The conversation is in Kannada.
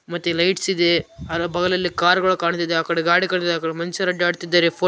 ಮತ್ತೆ ಲೈಟ್ಸ್‌ ಇದೆ ಅದರ ಪಕ್ಕದಲ್ಲಿ ಕಾರುಗಳು ಕಾಣಿಸ್ತಾ ಇದೆ ಆ ಕಡೆ ಗಾಡಿ ಕಾಣಿಸ್ತಾ ಇದೆ ಆ ಕಡೆ ಮನುಷ್ಯರು ಅಡ್ಡಾಡುತ್ತಿದ್ದಾರೆ.